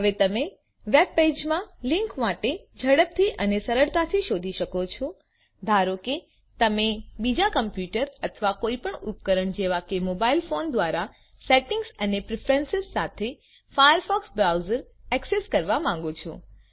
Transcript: હવે તમે વેબ પેજમાં લિંક માટે ઝડપથી અને સરળતાથી શોધી શકો છો ધારો કે તમે બીજા કમ્પ્યુટર અથવા કોઈપણ ઉપકરણ જેવા કે મોબાઇલ ફોન દ્વારા સેટિંગ એન્ડ પ્રેફરન્સ સાથે ફાયરફોકસ બ્રાઉઝર ઍક્સેસ કરવા માંગો છો